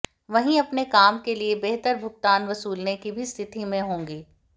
वहीं अपने काम के लिए बेहतर भुगतान वसूलने की भी स्थिति में होंगी